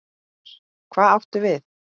Gunnar: Hvað áttu við?